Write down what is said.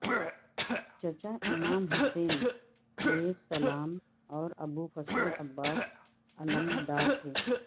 چچا امام حسن علیہ السلام اور ابوالفضل عباس علمدار تھے